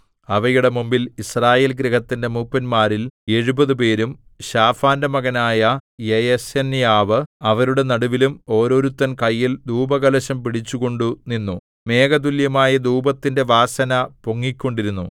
അവയുടെ മുമ്പിൽ യിസ്രായേൽ ഗൃഹത്തിന്റെ മൂപ്പന്മാരിൽ എഴുപതുപേരും ശാഫാന്റെ മകനായ യയസന്യാവ് അവരുടെ നടുവിലും ഓരോരുത്തൻ കയ്യിൽ ധൂപകലശം പിടിച്ചുകൊണ്ടു നിന്നു മേഘതുല്യമായ ധൂപത്തിന്റെ വാസന പൊങ്ങിക്കൊണ്ടിരുന്നു